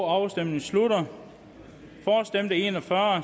afstemningen slutter for stemte en og fyrre